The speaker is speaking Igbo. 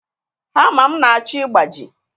Hama m na-achọ ịgbaji.